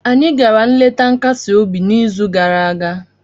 Anyị gara nleta nkasi obi n'izu gara aga